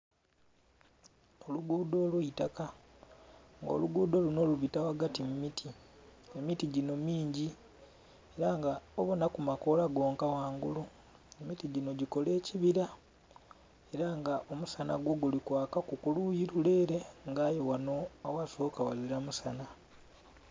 Oluguudho olw'eitaka nga oluguudho lunho lubita ghagati mu miti, emiti ginho mingi ela nga obonhaku makoola gonka ghangulu. Emiti ginho gikola ekibira era nga omusanha gwo guli kwakaku ku luyi lule ele nga aye ghanho aghasoka ghazila musanha.